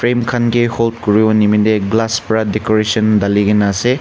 bim khan ke hol kuribo nimine glass para decoration dhali ke na ase.